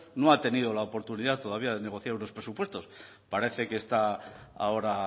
bueno no ha tenido la oportunidad todavía de negociar unos presupuestos parece que está ahora